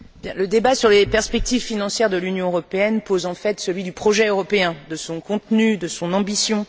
Monsieur le Président, le débat sur les perspectives financières de l'Union européenne pose en fait celui du projet européen, de son contenu et de son ambition.